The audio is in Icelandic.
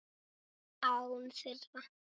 Án þeirra.